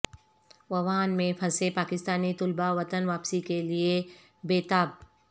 Wuhan میں پھنسے پاکستانی طلبہ وطن واپسی کے لیے بے تاب